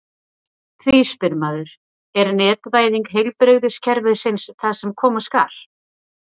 Því spyr maður: Er netvæðing heilbrigðiskerfisins það sem koma skal?